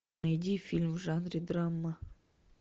найди фильм в жанре драма